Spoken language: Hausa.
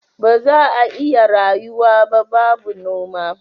Baza a iya rayuwa ba babu noma